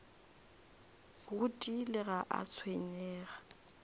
go tiile ga a tshwenyege